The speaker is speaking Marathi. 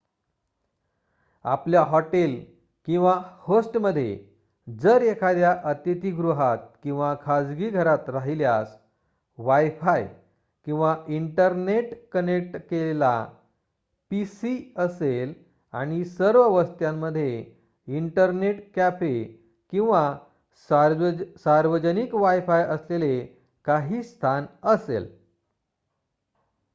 आपल्या हॉटेल किंवा होस्टमध्ये जर एखाद्या अतिथीगृहात किंवा खाजगी घरात राहिल्यास wifi किंवा इंटरनेट कनेक्ट केलेला pc असेल आणि सर्व वस्त्यांमध्ये इंटरनेट कॅफे किंवा सार्वजनिक wifi असलेले काही स्थान असेल